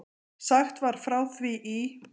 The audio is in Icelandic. Sagt var frá því í